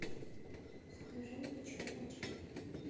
закажи мне черный чай